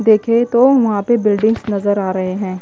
देख तो वहां पे बिल्डिग्स नजर आ रहे हैं।